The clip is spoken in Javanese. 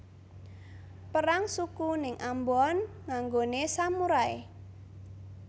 Perang suku ning Ambon nganggone samurai